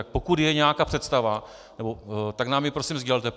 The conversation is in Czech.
Tak pokud je nějaká představa, tak nám ji prosím sdělte.